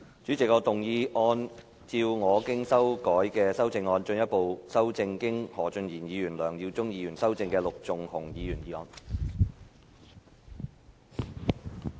主席，我動議按照我經修改的修正案，進一步修正經何俊賢議員及梁耀忠議員修正的陸頌雄議員議案。